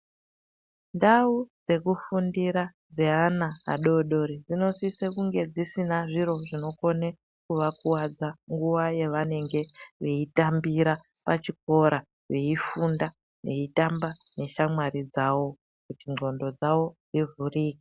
Ndau dzekufundira dzeana adodori dzinosise kunge dzisina zviro zvinokone kuvakuwadza nguwa yavanenge veitambira pachikora veifunda veitamba neshamwari dzavo kuti nxondo dzavo dzivhurike.